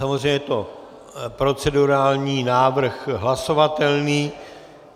Samozřejmě je to procedurální návrh hlasovatelný.